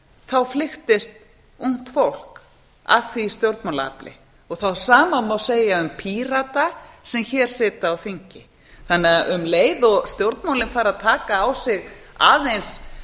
þá flykktist ungt fólk að því stjórnmálaafli það sama má segja um pírata sem hér sitja á þingi um leið og stjórnmálin fara að taka á sig aðeins